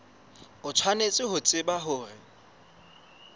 o tshwanetse ho tseba hore